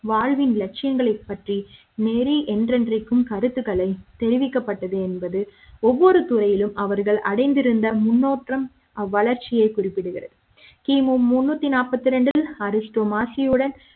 வாழ்வின் லட்சிய ங்களைப்பற்றி நெறி என்றென்றைக்கும் கருத்துக்களை தெரிவிக்கப்பட்டது என்பது ஒவ்வொரு துறையிலும் அவர்கள் அடைந்திருந்த முன்னேற்றம் அவ்வளர்ச்சியை குறிப்பிடுகிறது கிமு முண்ணூற்றி நாற்பத்தி இரண்டில் அரிஸ்டோ மசியுடன்